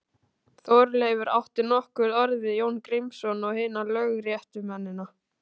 Þorleifur átti nokkur orð við Jón Grímsson og hina lögréttumennina.